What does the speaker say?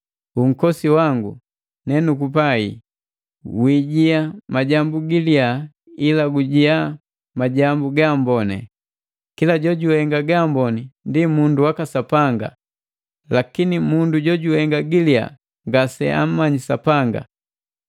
Unkosi wangu nenukupai, wiijia majambu giliya, ila gujia majambu gaamboni. Kila jojuhenga gaamboni ndi mundu waka Sapanga; lakini mundu jojuhenga giliya ngase ammanyiki Sapanga.